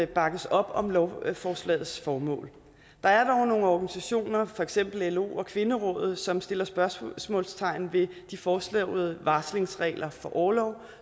bakkes op om lovforslagets formål der er dog nogle organisationer for eksempel lo og kvinderådet som sætter spørgsmålstegn ved de foreslåede varslingsregler for orlov